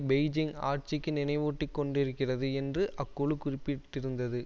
Beijing ஆட்சிக்கு நினைவூட்டிக் கொண்டிருக்கிறது என்று அக்குழு குறிப்பிட்டிருந்தது